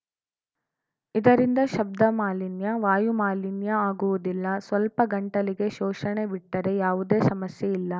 ಇದರಿಂದ ಶಬ್ದ ಮಾಲಿನ್ಯ ವಾಯು ಮಾಲಿನ್ಯ ಆಗುವುದಿಲ್ಲ ಸ್ವಲ್ಪ ಗಂಟಲಿಗೆ ಶೋಷಣೆ ಬಿಟ್ಟರೆ ಯಾವುದೇ ಸಮಸ್ಯೆ ಇಲ್ಲ